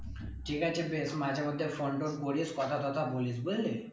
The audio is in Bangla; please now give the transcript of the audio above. ঠিক আছে বেশ মাঝের মধ্যে phone টোন করিস কথা তটা বলিস বুঝলি?